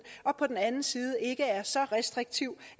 og på den anden side ikke er så restriktiv